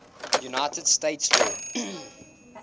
united states law